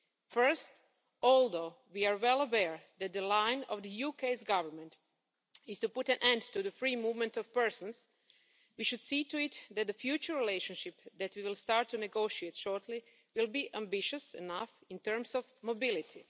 First, although we are well aware that the line of the UK's Government is to put an end to the free movement of persons, we should see to it that the future relationship that we will start to negotiate shortly will be ambitious enough in terms of mobility.